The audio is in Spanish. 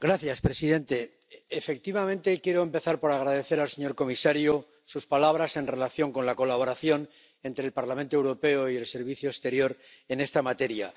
Señor presidente, efectivamente, quiero empezar por agradecer al señor comisario sus palabras en relación con la colaboración entre el Parlamento Europeo y el Servicio Europeo de Acción Exterior en esta materia.